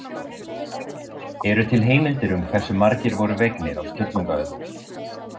Eru til heimildir um hversu margir voru vegnir á Sturlungaöld?